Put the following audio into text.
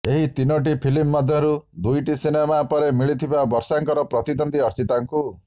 ଏହି ତିନିଟି ଫିଲ୍ମ ମଧ୍ୟରୁ ଦୁଇଟି ସିନେମା ପରେ ମିଳିଥିଲା ବର୍ଷାଙ୍କର ପ୍ରତିଦ୍ୱନ୍ଦ୍ୱୀ ଅର୍ଚ୍ଚିତାଙ୍କୁ